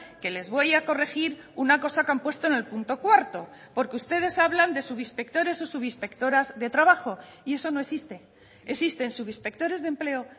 que les voy a corregir una cosa que han puesto en el punto cuarto porque ustedes hablan de subinspectores o subinspectoras de trabajo y eso no existe existen subinspectores de empleo